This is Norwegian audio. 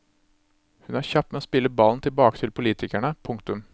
Hun er kjapp med å spille ballen tilbake til politikerne. punktum